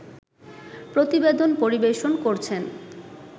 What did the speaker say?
প্রতিবেদন পরিবেশন করছেন